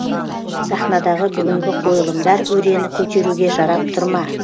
сахнадағы бүгінгі қойылымдар өрені көтеруге жарап тұр ма